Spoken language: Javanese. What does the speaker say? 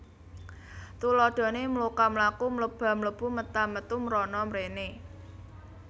Tuladhané mloka mlaku mleba mlebu meta metu mrana mréné